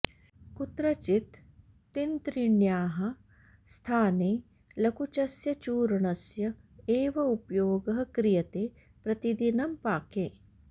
कुत्रचित् तिन्त्रिण्याः स्थाने लकुचस्य चूर्णस्य एव उपयोगः क्रियते प्रतिदिनं पाके